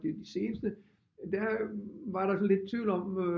De seneste der var der sådan lidt tvivl om